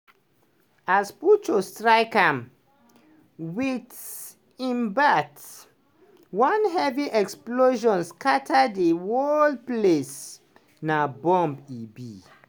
as puchu strike am wit im bat one heavy explosion scatter di whole place – na bomb e be.